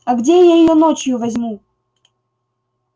а где я её ночью возьму